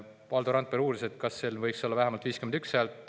Valdo Randpere uuris, kas sel vähemalt 51 häält.